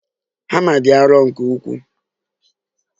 Hama dị arọ nke ukwuu.